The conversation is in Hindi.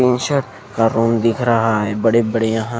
का रूम दिख रहा है बड़े बड़े यहाँ --